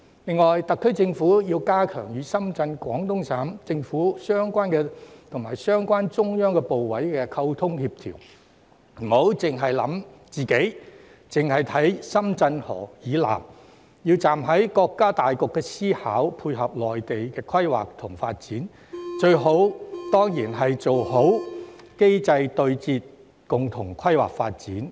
另外，特區政府要加強與深圳、廣東省政府及相關中央部委的溝通協調，不要單單考慮自己，或單看深圳河以南，並要站在國家大局思考，配合內地規劃及發展，最理想的當然是做好機制對接，共同規劃發展。